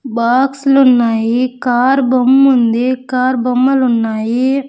Box లు ఉన్నాయి car బొమ్ముంది కార్ బొమ్మలు ఉన్నాయి.